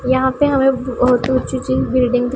यहां पे हमें बहोत ऊची ऊची बिल्डिंग --